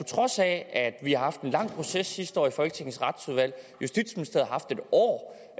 trods af at vi har haft en lang proces sidste år i folketingets retsudvalg og haft et år